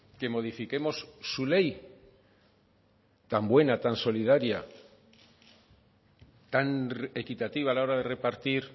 que modifiquemos su ley tan buena tan solidaria tan equitativa a la hora de repartir